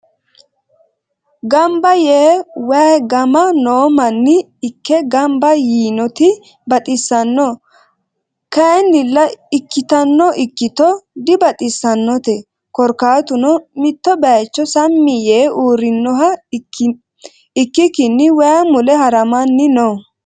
ganba yee wayi gama noo manni ikke ganba yiinoti baxisanno kayinnila ikitano ikito dibaxisannote korikaatunno mitto bayicho Sami yee uurinoha ikikinni wayi mule haramanni no.